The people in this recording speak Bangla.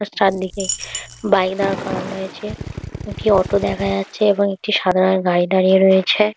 বাস চার দিকে বাইক দাঁড় করানো রয়েছে একটি অটো দেখা যাচ্ছে এবং একটি সাদা রঙের গাড়ি দাঁড়িয়ে রয়েছে।